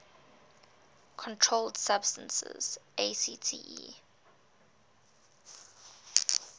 controlled substances acte